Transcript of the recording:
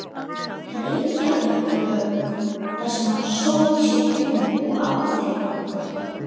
Reykjavíkurhöfn, þar sem hann sótti sér vinnu og afþreyingu.